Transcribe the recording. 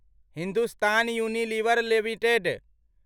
Hindustan Unilever limited